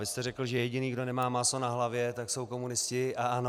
Vy jste řekl, že jediný, kdo nemá máslo na hlavě, tak jsou komunisti a ANO.